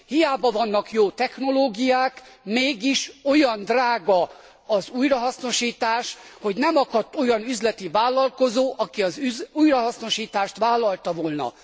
Hiába vannak jó technológiák, mégis olyan drága az újrahasznosítás, hogy nem akadt olyan üzleti vállalkozó, aki az újrahasznosítást vállalta volna.